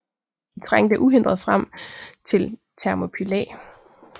De trængte uhindret frem til Thermopylæ